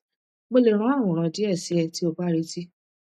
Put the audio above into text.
mo le ran aworan die si e ti o ba reti